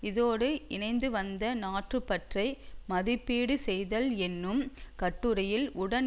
இதோடு இணைந்து வந்த நாட்டுப்பற்றை மதிப்பீடு செய்தல் என்னும் கட்டுரையில் உடன்